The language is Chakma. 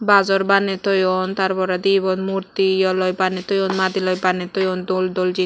bajor baney toyon tar poredi ebot murti ywloi baney toyon madiloi baney toyon dol dol ji.